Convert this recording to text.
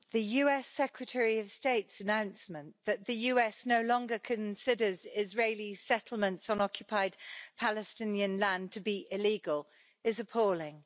Mr President, the US Secretary of State's announcement that the US no longer considers Israeli settlements on occupied Palestinian land to be illegal is appalling.